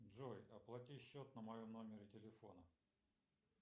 джой оплати счет на моем номере телефона